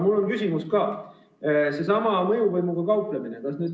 Mul on ka küsimus, sellesama mõjuvõimu kohta.